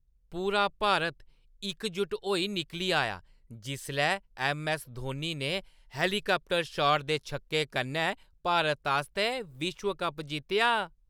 पूरा भारत इकजुट होई निकली आया जिसलै ऐम्म.ऐस्स. धोनी ने हेलीकाप्टर शॉट दे छक्के कन्नै भारत आस्तै विश्व कप जित्तेआ।